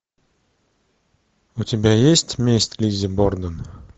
у тебя есть месть лиззи борден